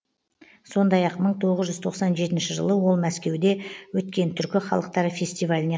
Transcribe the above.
сондай ақ мың тоғыз жүз тоқсан жетінші жылы ол мәскеуде өткен түркі халықтары фестиваліне